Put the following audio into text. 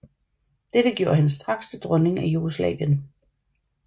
Dette gjorde hende straks til dronning af Jugoslavien